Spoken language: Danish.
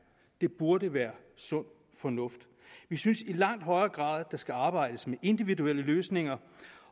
det burde være sund fornuft vi synes i langt højere grad at der skal arbejdes med individuelle løsninger